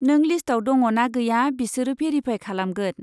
नों लिस्टआव दङ ना गैया बिसोरो भेरिफाय खालामगोन।